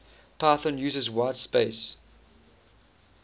python uses whitespace